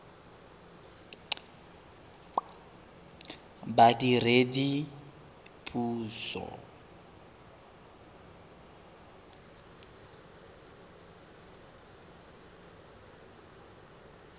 badiredipuso